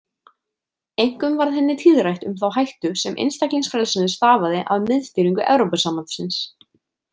Einkum varð henni tíðrætt um þá hættu, sem einstaklingsfrelsinu stafaði af miðstýringu Evrópusambandsins.